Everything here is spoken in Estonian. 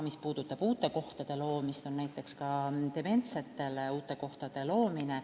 Mis puudutab uute kohtade loomist, siis on näiteks plaanis dementsetele uute kohtade loomine.